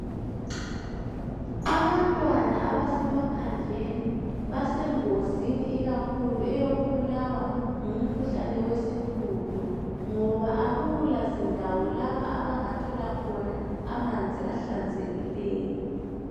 Abantwana abasemaphandleni basengozini ikakhulu eyokubulawa ngumkhuhlane wesihudo ngoba akula zindawo lapha abangathola khona amanzi ahlanzekileyo.